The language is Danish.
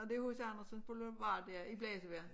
Nåh det H C Andersens boulevard ja i blæsevejr